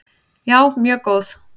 Já, mjög góð.